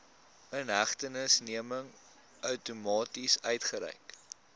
inhegtenisneming outomaties uitgereik